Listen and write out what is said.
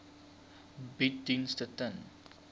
bied dienste ten